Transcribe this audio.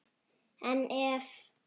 En ef?